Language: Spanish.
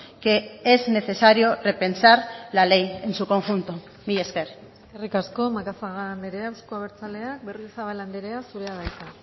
que es necesario repensar la ley en su conjunto mila esker eskerrik asko macazaga andrea euzko abertzaleak berriozabal andrea zurea da hitza